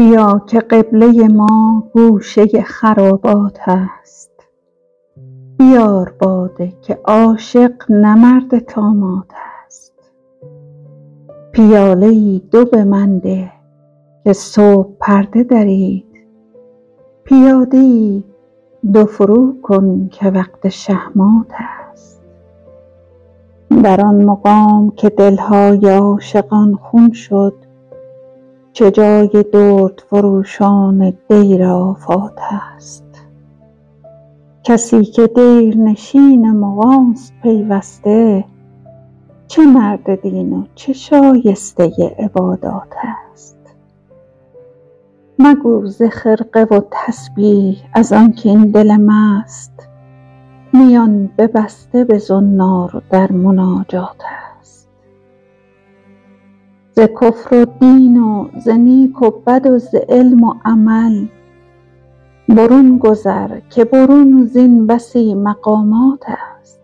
بیا که قبله ما گوشه خرابات است بیار باده که عاشق نه مرد طامات است پیاله ای دو به من ده که صبح پرده درید پیاده ای دو فرو کن که وقت شه مات است در آن مقام که دلهای عاشقان خون شد چه جای دردفروشان دیر آفات است کسی که دیرنشین مغانست پیوسته چه مرد دین و چه شایسته عبادات است مگو ز خرقه و تسبیح ازانکه این دل مست میان ببسته به زنار در مناجات است ز کفر و دین و ز نیک و بد و ز علم و عمل برون گذر که برون زین بسی مقامات است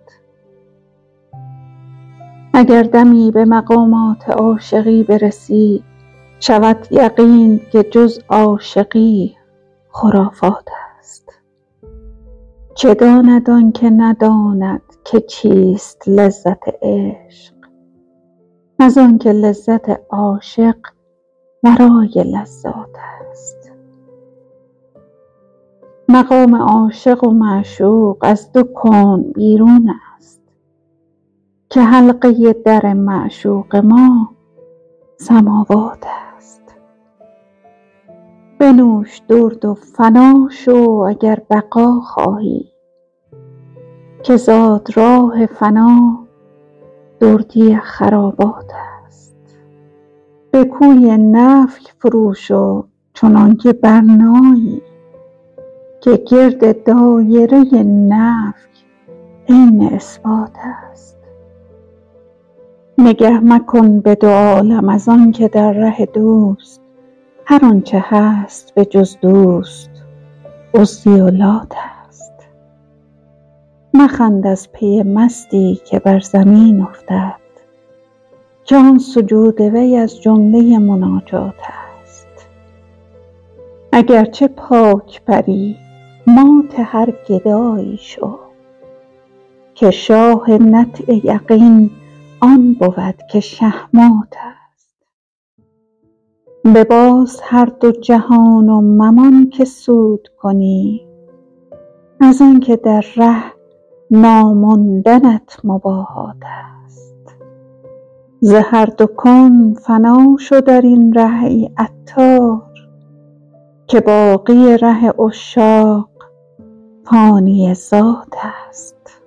اگر دمی به مقامات عاشقی برسی شود یقینت که جز عاشقی خرافات است چه داند آنکه نداند که چیست لذت عشق از آنکه لذت عاشق ورای لذات است مقام عاشق و معشوق از دو کون بیرون است که حلقه در معشوق ما سماوات است بنوش درد و فنا شو اگر بقا خواهی که زادراه فنا دردی خرابات است به کوی نفی فرو شو چنان که برنایی که گرد دایره نفی عین اثبات است نگه مکن به دو عالم از آنکه در ره دوست هر آنچه هست به جز دوست عزی و لات است مخند از پی مستی که بر زمین افتد که آن سجود وی از جمله مناجات است اگرچه پاک بری مات هر گدایی شو که شاه نطع یقین آن بود که شه مات است بباز هر دو جهان و ممان که سود کنی از آنکه در ره ناماندنت مباهات است ز هر دو کون فنا شو درین ره ای عطار که باقی ره عشاق فانی ذات است